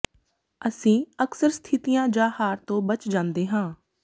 ਅਸੀਂ ਅਕਸਰ ਸਥਿਤੀਆਂ ਜਾਂ ਹਾਰ ਤੋਂ ਬਚ ਜਾਂਦੇ ਹਾਂ